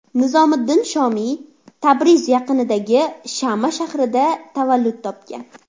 Nizomiddin Shomiy Tabriz yaqinidagi Shama shahrida tavallud topgan.